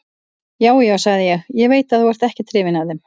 Já, já, sagði ég, ég veit að þú ert ekkert hrifinn af þeim.